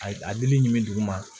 A ye a dili ɲmi dugu ma